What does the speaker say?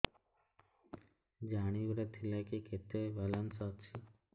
ଜାଣିବାର ଥିଲା କି କେତେ ବାଲାନ୍ସ ଅଛି